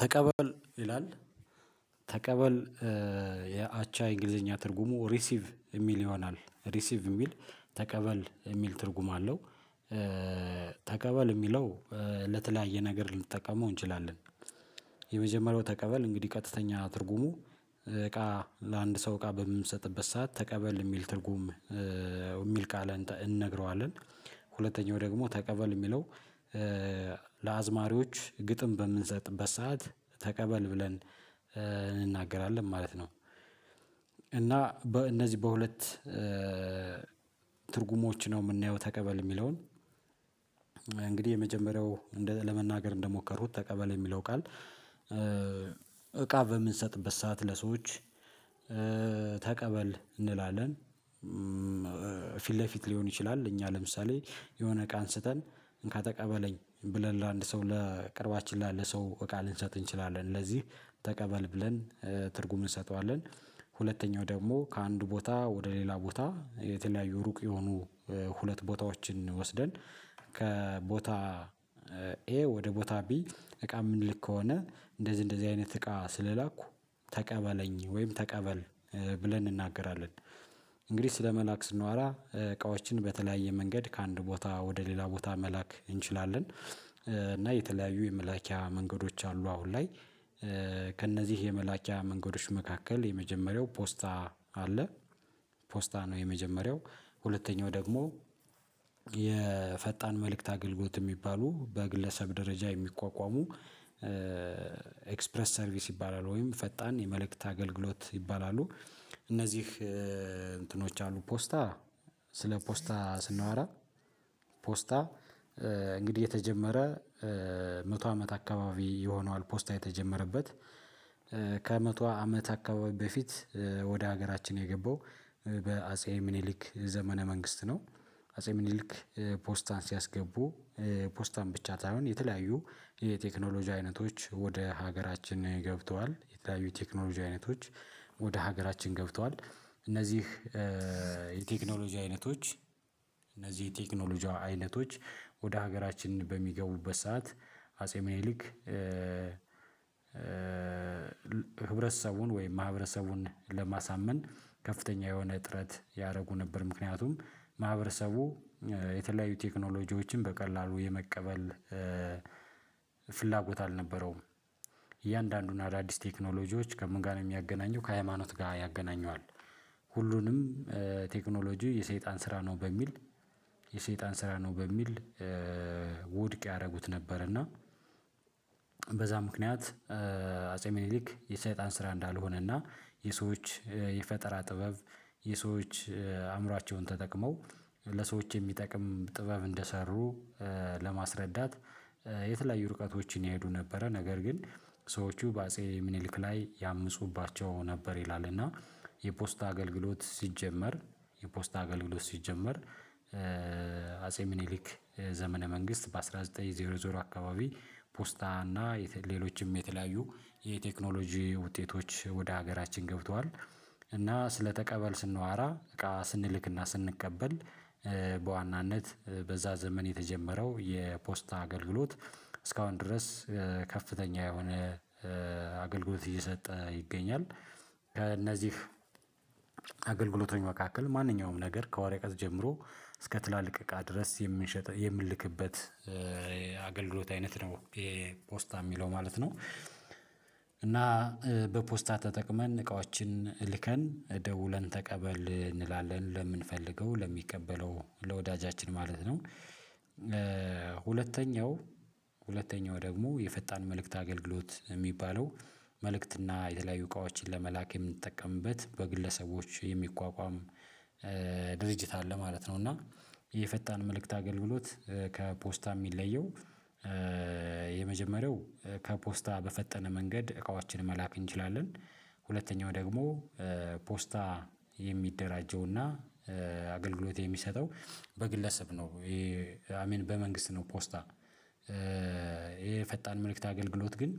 ተቀበል ይላል ተቀበል የአቻ የእንግሊዘኛ ትርጉሙ ሪሲቭ የሚል ይሆናል ሪሲቭ የሚል ተቀበል የሚል ትርጉም አለው። ተቀበል የሚለው ለተለያየ ነገር ልንጠቀመው እንችላለን። የመጀመሪያው ተቀበል እንግዲህ ቀጥተኛ ትርጉሙ እቃ ለአንድ ሰው እቃ በምሰጥበት ሰዓት ተቀበል የሚል ትርጉም የሚል ቃል እንነግረዋለን፤ ሁለተኛው ደግሞ ተቀበል የሚለው ለአዝማሪዎች ግጥም በምንሰጥበት ሰዓት ተቀበል ብለን እንናገራለን ማለት ነው። እና በእነዚህ በሁለት ትርጉሞች ነው የምናየው ተቀበል የሚለውን እንግዲህ የመጀመሪያው ለመናገር እንደሞከሩት ተቀበል የሚለው ቃል እቃ በምንሰጥበት ሰዓት ለሰዎች ተቀበል እንላለን። ፊት ለፊት ሊሆን ይችላል እኛ ለምሳሌ የሆነ እቃ አንስተን እንካ ተቀበለኝ ብለን ለአንድ ሰው ለቅርባችን ላለ ሰው እቃ ልንሰጥ እንችላለን ለዚህ ተቀበል ብለን ትርጉም እንሰጠዋለን። ሁለተኛው ደግሞ ከአንዱ ቦታ ወደ ሌላ ቦታ የተለያዩ ሩቅ የሆኑ ሁለት ቦታዎችን ወስደን ከቦታ ኤ ወደ ቦታ ቢ እቃ የምንልክ ከሆነ እንደዚህ እንደዚህ አይነት እቃ ስለላኩ ተቀበለኝ ወይም ተቀበል ብለን እንናገራለን። እንግዲህ ስለመላክ ስንዋራ እቃዎችን በተለያየ መንገድ ከአንድ ቦታ ወደ ሌላ ቦታ መላክ እንችላለን። እና የተለያዩ የመላኪያ መንገዶች አሉ አሁን ላይ። ከእነዚህ የመላኪያ መንገዶች መካከል የመጀመሪያው ፖስታ አለ። ፖስታ ነው የመጀመሪያው ሁለተኛው ደግሞ የፈጣን መልእክት አገልግሎት የሚባሉ በግለሰብ ደረጃ የሚቋቋሙ ኤክስፕረስ ሰርቪስ ይባላል ወይም ፈጣን የመልእክት አገልግሎት ይባላሉ፤ እነዚህ እንትኖች አሉ ፖስታ ስለ ፖስታ ስናወራ ፖስታ እንግዲህ የተጀመረ መቶ አመት አካባቢ የሆነዋል። ፖስታ የተጀመረበት ከመቶ አመት አካባቢ በፊት ወደ ሀገራችን የገባው በአጼ ምኒሊክ ዘመነ መንግስት ነው፤ አጼ ምኒሊክ ፖስታን ሲያስገቡ ፖስታን ብቻ ሳይሆን የተለያዩ የቴክኖሎጂ አይነቶች ወደ ሀገራችን ገብተዋል የተለያዩ ቴክኖሎጂ አይነቶች ወደ ሀገራችን ገብተዋል። እነዚህ የቴክኖሎጂ አይነቶች እነዚህ ቴክኖሎጂ አይነቶች ወደ ሀገራችን በሚገቡበት ሰዓት አጼ ምኒልክ ህብረተሰቡን ወይም ማህበረሰቡን ለማሳመን ከፍተኛ የሆነ ጥረት ያደርጉ ነበር። ምክንያቱም ማህበረሰቡ የተለያዩ ቴክኖሎጂዎችን በቀላሉ የመቀበል ፍላጎት አልነበረውም። እያንዳንዱን አዳዲስ ቴክኖሎጂዎች ከምን ጋር ነው የሚያገናኘው ከሃይማኖት ጋር ያገናኘዋል። ሁሉንም ቴክኖሎጂ የሰይጣን ስራ ነው በሚል የሰይጣን ስራ ነው በሚል ውድቅ ያደርጉት ነበር። እና በዛ ምክንያት አጼ ሚኒሊክ የሰይጣን ስራ እንዳልሆነና የሰዎች የፈጠራ ጥበብ የሰዎች አእምሯቸውን ተጠቅመው ለሰዎች የሚጠቅም ጥበብ እንደሰሩ ለማስረዳት የተለያዩ ርቀቶችን ይሄዱ ነበረ። ነገር ግን ሰዎቹ በአጼ ምኒልክ ላይ ያምፁባቸው ነበር ይላል። እና የፖስት አገልግሎት ሲጀመር የፖስት አገልግሎት ሲጀመር አጼ ምኒሊክ ዘመነ መንግስት በአስራ ዘጠኝ ዜሮ ዜሮ አካባቢ ፖስታ እና ሌሎችም የተለያዩ የቴክኖሎጂ ውጤቶች ወደ ሀገራችን ገብተዋል። እና ስለተቀበል ስናወራ እቃ ስንልክና ስንቀበል በዋናነት በዛ ዘመን የተጀመረው የፖስታ አገልግሎት እስካሁን ድረስ ከፍተኛ የሆነ አገልግሎት እየሰጠ ይገኛል። ከእነዚህ አገልግሎቶች መካከል ማንኛውም ነገር ከወረቀት ጀምሮ እስከ ትላልቅ እቃ ድረስ የምንሸጠው የምንልክበት አገልግሎት አይነት ነው ይሄ ፖስታ የሚለው ማለት ነው። እና በፖስታ ተጠቅመን እቃዎችን ልከን ደውለን ተቀበል እንላለን ለምንፈልገው ለሚቀበለው ለወዳጃችን ማለት ነው። ሁለተኛው ሁለተኛው ደግሞ የፈጣን መልእክት አገልግሎት የሚባለው መልእክትና የተለያዩ እቃዎችን ለመላክ የምንጠቀምበት በግለሰቦች የሚቋቋም ድርጅት አለ ማለት ነው። እና የፈጣን መልእክት አገልግሎት ከፖስታ የሚለየው የመጀመሪያው ከፖስታ በፈጠነ መንገድ እቃዎችን መላክ እንችላለን። ሁለተኛው ደግሞ ፖስታ የሚደራጀውና አገልግሎት የሚሰጠው በግለሰብ ነው። አይ ሚን በመንግስት ነው ፖስታ። ይሄ የፈጣን መልእክት አገልግሎት ግን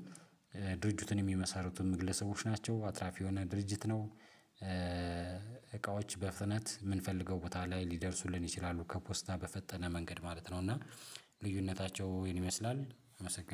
ድርጅቱን የሚመሰርቱም ግለሰቦች ናቸው አትራፊ የሆነ ድርጅት ነው። እቃዎች በፍጥነት የምንፈልገው ቦታ ላይ ሊደርሱልን ይችላሉ ከፖስታ በፈጠነ መንገድ ማለት ነው። እና ልዩነታቸው ይህን ይመስላል አመሰግናለሁ።